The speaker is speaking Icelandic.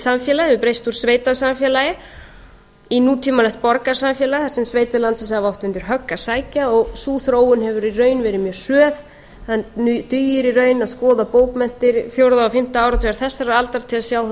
samfélagið hefur breyst úr sveitasamfélagi í nútímalegt borgarsamfélag þar sem sveitir landsins hafa átt undir högg að sækja og sú þróun hefur í raun verið mjög hröð það dugir í raun að skoða bókmenntir fjórða og fimmta áratugar þessarar aldar til að sjá þær